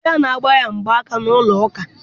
Di ya na-agbanye ya mgba aka n'ụlọ ụka.